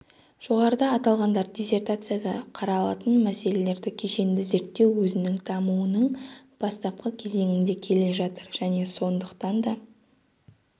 жоғарыда аталғандар диссертацияда қаралатын мәселелерді кешенді зерттеу өзінің дамуының бастапқы кезеңінде келе жатыр және сондықтан да